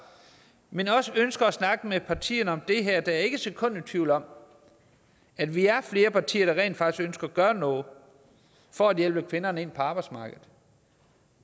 men også ønsker at snakke med partierne om det her jeg er ikke et sekund i tvivl om at vi er flere partier der rent faktisk ønsker at gøre noget for at hjælpe kvinderne ind på arbejdsmarkedet